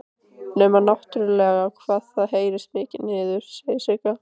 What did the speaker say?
Nema náttúrlega hvað það heyrist mikið niður, segir Sigga.